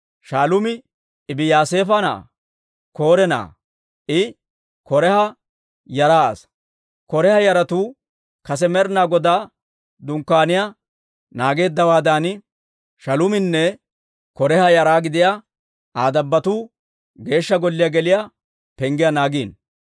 Shaaluumi Ebiyaasaafa na'aa K'ore na'aa; I K'oraaha yara asaa. K'oraaha yaratuu kase Med'inaa Godaa Dunkkaaniyaa naageeddawaadan, Shaaluuminne K'oraaha yara gidiyaa Aa dabbotuu Geeshsha Golliyaa geliyaa penggiyaa naagiino.